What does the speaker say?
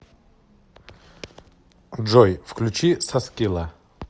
джой включи саскила